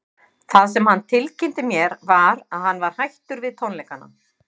Orðið er einnig notað um skrautblóm og var algengur forliður í kvenkenningum í fornum kveðskap.